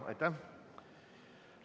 Aitäh!